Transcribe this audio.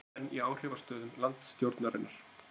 Sömu menn í áhrifastöðum landsstjórnarinnar?